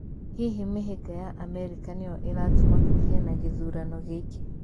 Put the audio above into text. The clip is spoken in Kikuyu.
Hihi mĩhĩnga ya Amerika nĩ yo ĩratũma kũgĩe na gĩthurano gĩkĩ?